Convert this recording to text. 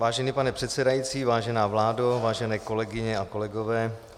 Vážený pane předsedající, vážená vládo, vážené kolegyně a kolegové.